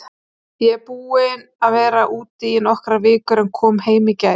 Ég er búinn að vera úti í nokkrar vikur en kom heim í gær.